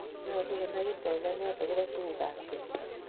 nyoluu konai kipsonanian akobo tukuk ab keny